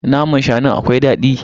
Naman shanun akwai dadi.